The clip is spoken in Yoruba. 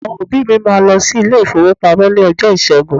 Àwọn òbí mi máa lọ sí ilé-ìfowópamọ́ ní ọjọ́ Ìṣẹ́gun.